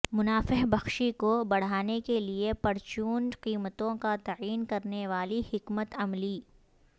منافع بخشی کو بڑھانے کے لئے پرچون قیمتوں کا تعین کرنے والی حکمت عملی